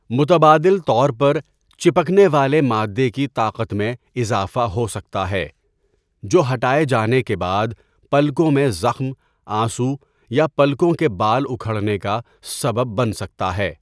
متبادل طور پر، چپکنے والے مادے کی طاقت میں اضافہ ہو سکتا ہے، جو ہٹائے جانے کے بعد پلکوں میں زخم، آنسو، یا پلکوں کے بال اکھڑنے کا سبب بن سکتا ہے۔